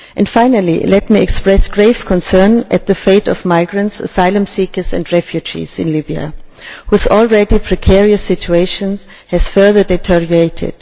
Finally, let me express grave concern at the fate of migrants, asylum seekers and refugees in Libya whose already precarious situations have further deteriorated.